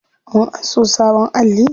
Mun anso sabon alli.